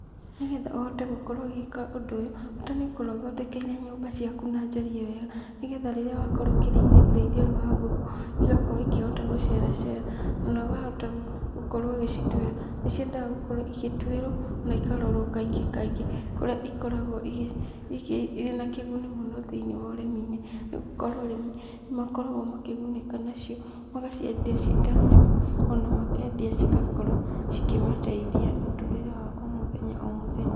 Nĩgetha ũhote gũkorwo ũgĩka ũndũ ũyũ, bata nĩ ũkorwo ũthondekeire nyũmba ciaku na njariĩ wega, nĩgetha rĩrĩa wakorwo ũkĩrĩithia ũrĩithia ũyũ wa ngũkũ, igakorwo ikĩhota gũceracera na ũkahota gũkorwo ũgĩcituĩra, nĩciendaga gũkorwo igĩtuĩrwo na ikarorwo kaingĩ kaingĩ, kũrĩa ikoragwo igĩ irĩ na kĩguni mũno thĩinĩ wa ũrĩmi-inĩ, nĩ gũkorwo arĩmi nĩ makoragwo makĩgunĩka nacio, magaciendia ciĩ ta nyama ona makendia cigakorwo cikĩmateithia mũtũrĩre wa o mũthenya o mũthenya.